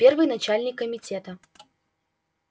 первый начальник комитета